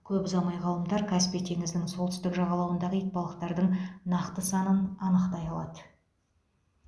көп ұзамай ғалымдар каспий теңізінің солтүстік жағалауындағы итбалықтардың нақты санын анықтай алады